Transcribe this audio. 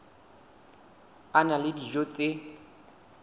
a na le dijo tse